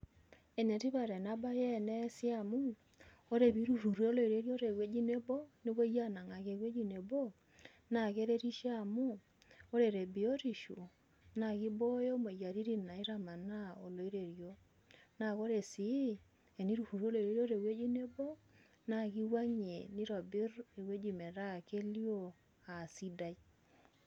Enetipat ena baye eneesi amu ore teninturruroo oloiterio tewueji nebo nepuoi aanang'aki ewuei nebo naa keretisho amu ore tebiotisho naa kibooyo imoyiaritin naitamanaa oloiterio naa ore sii eniturruri oloiterio tewuei nebo naa kiwuang'ie nitobirr ewueji metaa kelio aa sidai.